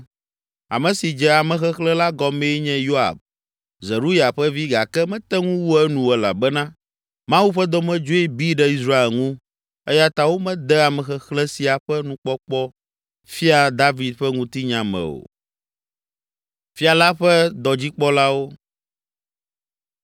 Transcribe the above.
Ame si dze amexexlẽ la gɔmee nye Yoab, Zeruya ƒe vi gake mete ŋu wu enu o elabena Mawu ƒe dɔmedzoe bi ɖe Israel ŋu eya ta womede amexexlẽ sia ƒe nukpɔkpɔ Fia David ƒe ŋutinya me o.